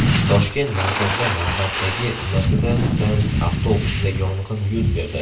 Toshkent markazida navbatdagi Mercedes-Benz avtobusida yong‘in yuz berdi.